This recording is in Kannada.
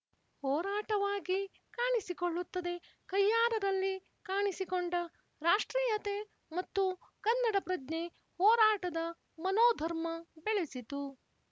ಹೋರಾಟವಾಗಿ ಕಾಣಿಸಿಕೊಳ್ಳತ್ತದೆ ಕಯ್ಯಾರರಲ್ಲಿ ಕಾಣಿಸಿಕೊಂಡ ರಾಷ್ಟ್ರೀಯತೆ ಮತ್ತು ಕನ್ನಡ ಪ್ರಜ್ಞೆ ಹೋರಾಟದ ಮನೋಧರ್ಮ ಬೆಳೆಸಿತು